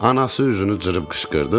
Anası üzünü cırıb qışqırdı.